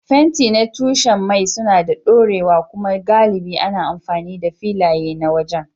Fenti na tushen mai suna da ɗorewa kuma galibi ana amfani da filaye na waje.